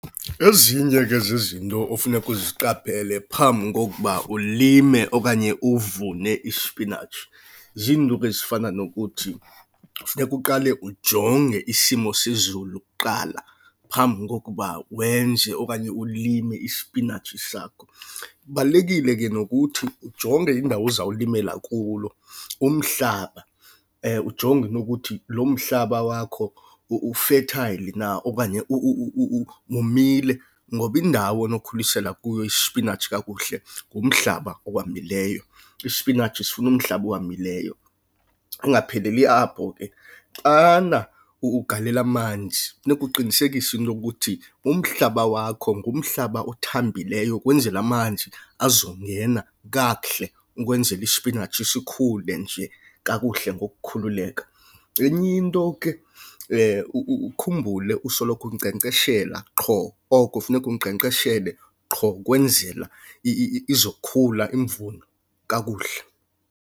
Ezinye ke zezinto ofuneka uziqaphele phambi kokuba ulime okanye uvune ispinatshi ziinto ke ezifana nokuthi kufuneka uqale ujonge isimo sezulu kuqala phambi kokuba wenze okanye ulime isipinatshi sakho. Kubalulekile ke nokuthi ujonge indawo ozawulimela kulo umhlaba, ujonge into ukuthi lo mhlaba wakho u-fertile na okanye womile. Ngoba indawo onokhulisela kuyo isipinatshi kakuhle ngumhlaba owomileyo. Isipinatshi sifuna umhlaba owomileyo, kungapheleli apho ke. Xana ugalela amanzi funeka uqinisekise into ukuthi umhlaba wakho ngumhlaba othambileyo kwenzela amanzi azongena kakuhle ukwenzela ispinatshi sikhule nje kakuhle ke ngokukhululeka. Enye into ke ukhumbule usoloko unkcenkceshela qho oko funeka unkcenkceshele qho kwenzela izokhula imvuno kakuhle.